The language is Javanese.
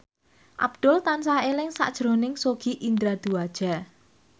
Abdul tansah eling sakjroning Sogi Indra Duaja